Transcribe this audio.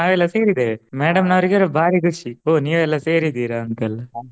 ಸೇರಿದೆವೆ madam ನವರಿಗೆ ಇದು ಭಾರಿ ಖುಷಿ ಓ ನೀವೆಲ್ಲ ಸೇರಿದ್ದೀರಾ ಅಂತ ಎಲ್ಲಾ.